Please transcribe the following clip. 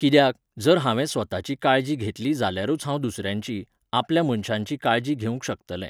कित्याक, जर हांवें स्वताची काळजी घेतली जाल्यारूच हांव दुसऱ्यांची, आपल्या मनशांची काळजी घेवंक शकतलें.